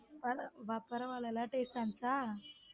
பரவால்ல taste ஆ இருந்துச்சா.